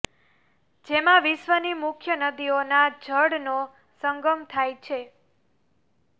જેમા વિશ્વ ની મુખ્ય નદીઓ ના જળ નો સંગમ થાય છે